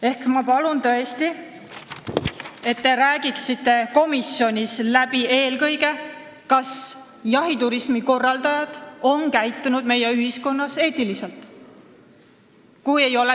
Ehk ma palun tõesti, et te räägiksite komisjonis läbi eelkõige selle, kas jahiturismi korraldajad on meie ühiskonnas eetiliselt käitunud.